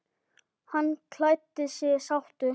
Hann kvaddi sáttur.